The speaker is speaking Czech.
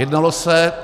Jednalo se -